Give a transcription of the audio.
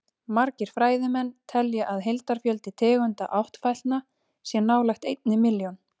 Margir fræðimenn telja að heildarfjöldi tegunda áttfætlna sé nálægt einni milljón.